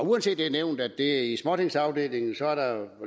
uanset at det er nævnt at det er i småtingsafdelingen er der vel